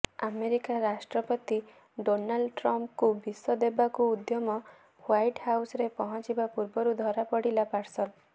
America ରାଷ୍ଟ୍ରପତି Donald ଟ୍ରମ୍ପ୍ଙ୍କୁ ବିଷ ଦେବାକୁ ଉଦ୍ୟମ ହ୍ବାଇଟ୍ ହାଉସ୍ରେ ପହଞ୍ଚିବା ପୂର୍ବରୁ ଧରାପଡିଲା ପାର୍ସଲ